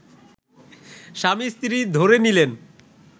স্বামী-স্ত্রী ধরে নিলেন